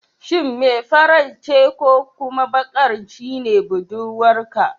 Shin mai farar ce ko kuma bakar shine budurwarka?